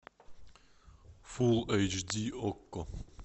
фул эйч ди окко